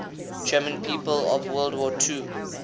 german people of world war ii